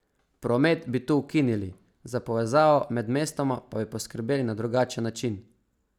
Promet bi tu ukinili, za povezavo med mestoma pa bi poskrbeli na drugačen način.